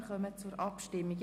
Wir kommen zur Abstimmung.